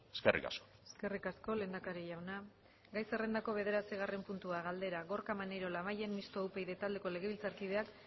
eskerrik asko eskerrik asko lehendakari jauna gai zerrendako bederatzigarren puntua galdera gorka maneiro labayen mistoa upyd taldeko legebiltzarkideak